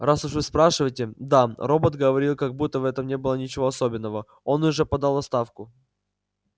раз уж вы спрашиваете да робот говорил как будто в этом не было ничего особенного он уже подал в отставку